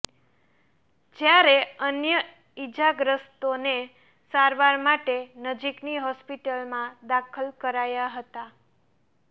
જ્યારે અન્ય ઈજાગ્રસ્તોને સારવાર માટે નજીકની હોસ્પિટલમાં દાખલ કરાયાં હતાં